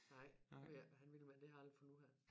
Nej jeg ved ikke hvad han ville med det har jeg aldrig fundet ud af